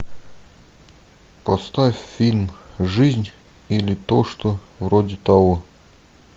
поставь фильм жизнь или то что вроде того